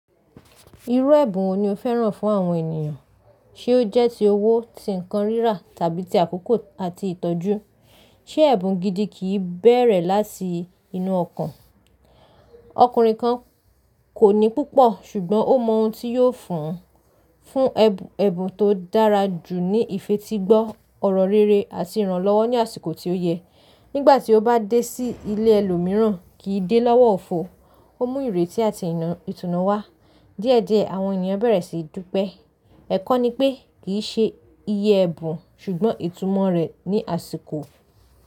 Irú ẹ̀bùn wo ni o fẹ́ràn fún àwọn ènìyàn? Ti ó jẹ́ ti owó, ti nkan rírà, tàbí ti àkókò àti ìtọ́jú? Ṣé ẹ̀bùn gidi kì í bẹ̀rẹ̀ láti inú ọkàn? Ọkùnrin kan kò ní púpọ̀, ṣùgbọ́n ó mọ ohun tí yóò fún un. Fún ẹ̀bùn tó dára jù ní ìfetígbo, ọ̀rọ̀ rere àti ìrànlọ́wọ́ ní àsìkò tí ó yẹ. Nígbà tí ó bá dé sí ilé ẹlòmíràn, kì í dé lọ́wọ́ òfo. Ó mú ìrètí àti ìtùnú wá. Díẹ̀díẹ̀, àwọn ènìyàn bẹ̀rẹ̀ síi dúpẹ́. Ẹ̀kọ́ ni pé kì í ṣe iye ẹ̀bùn, ṣùgbọ́n ìtumọ̀ rẹ̀ ní àsìkò.